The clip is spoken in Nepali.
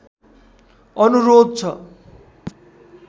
अनुरोध छ